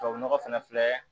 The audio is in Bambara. Tubabu nɔgɔ fɛnɛ filɛ